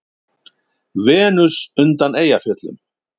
Venus undan Eyjafjöllum.